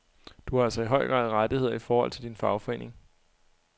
Du har altså i høj grad rettigheder i forhold til din fagforening.